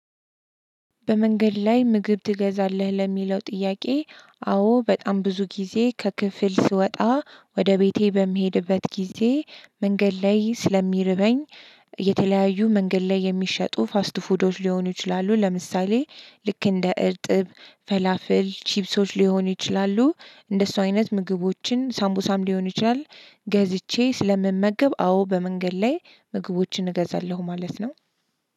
በመንገድ ላይ ምግብ ትገዛለህ ለሚለው ጥያቄ? አዎ በጣም ብዙ ጊዜ ከክፍል ስወጣ ወደ ቤቴ በምሄድበት ጊዜ መንገድ ላይ ስለሚርበኝ። የተለያዩ መንገድ ላይ የሚሸጡ ፋስት ፉዶች ሊሆኑ ይችላሉ ለምሳሌ ልክ እንደ እርጥብ ፈላፍል ቺፕሶች ሊሆኑ ይችላሉ። እንደሱ አይነት ምግቦችን ሳምቡሳም ሊሆኑ ይችላል። ገዝቼ ስለምመገብ አዎ በመንገድ ላይ ምግቦችን እገዛለሁ ማለት ነው።